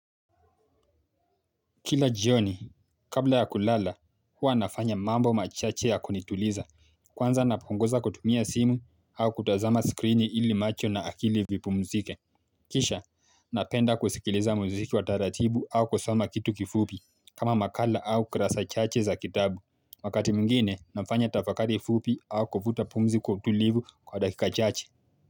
Kila jioni kabla ya kulala huwa nafanya mambo machache ya kunituliza kwanza napunguza kutumia simu au kutazama screen ili macho na akili vipumzike Kisha napenda kusikiliza muziki wa taratibu au kusoma kitu kifupi kama makala au kurasa chache za kitabu Wakati mwingine nafanya tafakari fupi au kuvuta pumzi kutulivu kwa dakika chache.